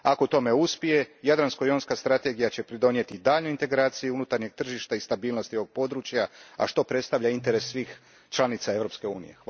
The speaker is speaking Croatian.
Ako u tome uspije, Jadransko jonska strategija će pridonijeti daljnjoj integraciji unutarnjeg tržišta i stabilnosti ovog područja, a što predstavlja interes svih članica Europske unije.